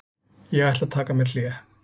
Ég ætla að taka mér hlé.